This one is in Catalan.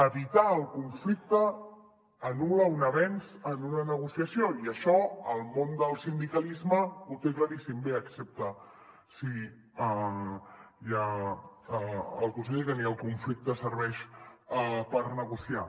evitar el conflicte anul·la un avenç en una negociació i això el món del sindicalisme ho té claríssim bé excepte si hi ha el conseller perquè ni el conflicte serveix per negociar